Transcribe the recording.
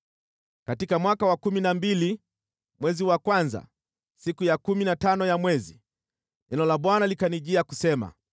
Katika mwaka wa kumi na mbili, mwezi wa kwanza, siku ya kumi na tano ya mwezi, neno la Bwana likanijia kusema: